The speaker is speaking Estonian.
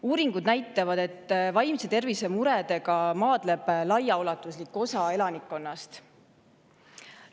Uuringud näitavad, et vaimse tervise muredega maadleb laiaulatuslik osa elanikkonnast.